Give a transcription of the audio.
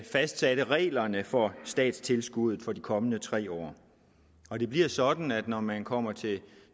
fastsatte reglerne for statstilskuddet for de kommende tre år og det bliver sådan at når man kommer til